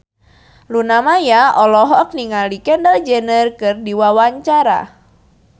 Luna Maya olohok ningali Kendall Jenner keur diwawancara